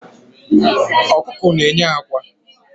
Ọkụkọ n'eyi ákwá